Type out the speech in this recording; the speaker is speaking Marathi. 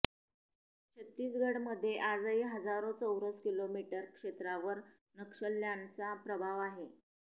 छत्तीसगढमध्ये आजही हजारो चौरस किलोमीटर क्षेत्रावर नक्षल्यांचा प्रभाव आहे